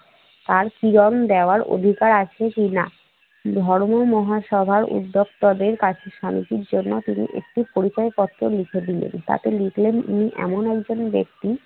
তার কিরণ দেয়ার অধিকার আছে কিনা। ধর্ম মহাসভার উদ্যোক্তাদের কাছে শান্তির জন্য তিনি একটি পরিচয় পত্র লিখে দিলেন। তাতে লিখলেন উনি এমন একজন ব্যক্তি